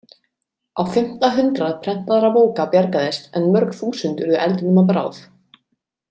Á fimmta hundrað prentaðra bóka bjargaðist en mörg þúsund urðu eldinum að bráð.